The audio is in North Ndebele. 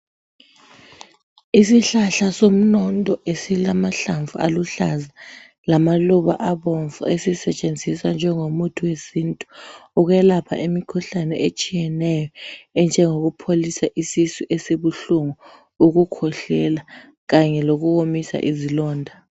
Isihlahla somnondo esilamahlamvu aluhlaza lamaluba abomvu esisetshenziswa njengomuthi wesintu ukwelapha imikhuhlane etshiyeneyo enjengokupholisa isisu esibuhlungu, ukukhwehlela kanye lokuwomisa izilonda.